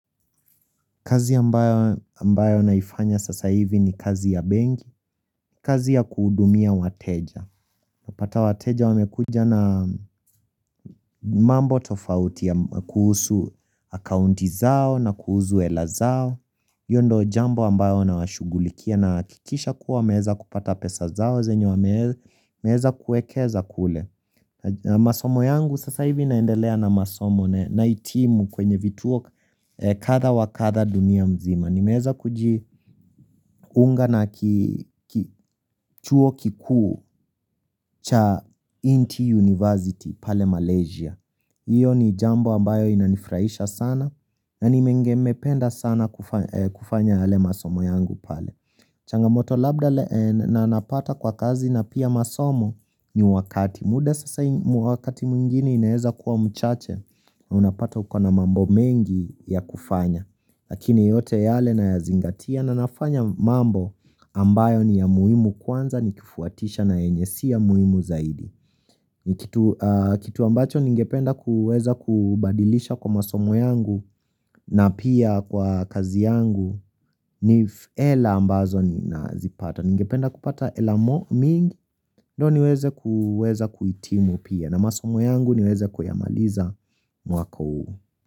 Kazi ambayo naifanya sasa hivi ni kazi ya bengi, kazi ya kudumia wateja Napata wateja wamekuja na mambo tofauti ya kuhusu akaunti zao na kuhusu elazao hilo ndo jambo ambayo na washugulikia na kikisha kuwa meheza kupata pesa zao zenyo meheza kuekeza kule masomo yangu sasa hivi naendelea na masomo na itimu kwenye vituo katha wa katha dunia mzima ni nimeeza kujiunga na kituo kikuu cha Inti University pale Malaysia Iyo ni jambo ambayo inanifuraisha sana na ni menge mependa sana kufanya yale masomo yangu pale Changamoto Labda na napata kwa kazi na pia masomo ni wakati muda sasa mwakati mwingini inaeza kuwa mchache na unapata uko na mambo mengi ya kufanya Lakini yote yale na ya zingatia na nafanya mambo ambayo ni ya muhimu kwanza ni kifuatisha na enyesi ya muhimu zaidi. Kitu ambacho ningependa kuweza kubadilisha kwa masomo yangu na pia kwa kazi yangu ni hela ambazo na zipata. Ningependa kupata hela mingi ndo niweze kuitimu pia na masomo yangu niweze kuyamaliza mwako uu.